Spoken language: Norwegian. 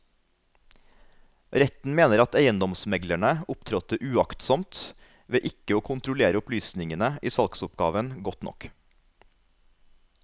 Retten mener at eiendomsmeglerne opptrådte uaktsomt ved ikke å kontrollere opplysningene i salgsoppgaven godt nok.